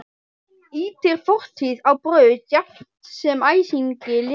Ýtir fortíð á braut jafnt sem æsingi Lenu.